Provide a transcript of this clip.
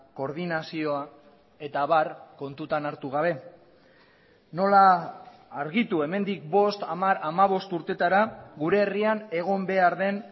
koordinazioa eta abar kontutan hartu gabe nola argitu hemendik bost hamar hamabost urtetara gure herrian egon behar den